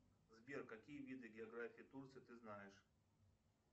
сбер какие виды географии турции ты знаешь